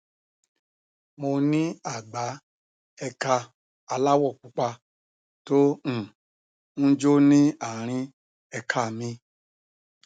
mo ní àgbá ẹka aláwọ pupa tó um ń jó ní àárín ẹka mi